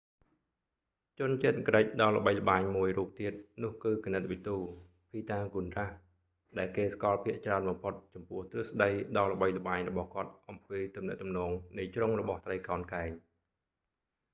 ជនជាតិក្រិកដ៏ល្បីល្បាញមួយរួបទៀតនោះគឺគណិតវិទ ភីតាហ្គូនរ៉ាស៍pythagoras,ដែលគេស្គាល់ភាគច្រើនបំផុតចំពោះទ្រឹស្តីដ៏ល្បីល្បាញរបស់គាត់អំពីទំនាក់ទំនងនៃជ្រុងរបស់ត្រីកោណកែង។